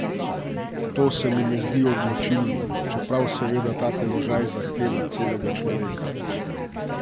To se mi ne zdi odločilno, čeprav seveda ta položaj zahteva celega človeka.